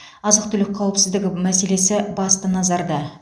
азық түлік қауіпсіздігі мәселесі басты назарда